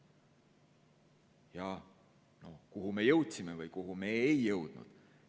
Ja kuhu me jõudsime või kuhu me ei jõudnud?